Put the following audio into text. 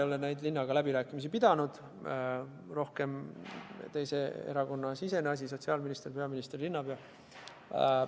Mina ei ole linnaga läbirääkimisi pidanud, see on rohkem ühe teise erakonna siseasi – sotsiaalminister, peaminister, linnapea.